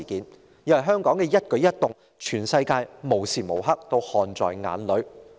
因為對於香港的一舉一動，全世界無時無刻也看在眼裏。